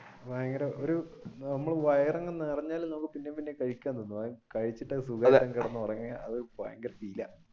ഭയങ്കര ഒരു നമ്മൾ വയർ അങ്ങ് നിറഞ്ഞാലും പിന്നേം പിന്നെ കഴിക്കാൻ തോന്നും കഴിച്ചിട്ട് സുഖമായിട്ട് ഉറങ്ങി അത് ഭയങ്കര